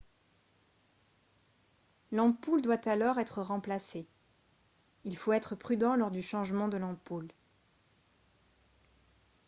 l'ampoule doit alors être remplacée il faut être prudent lors du changement de l'ampoule